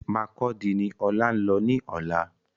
Markurdi ni Ọlá ńlọ ní ọ̀la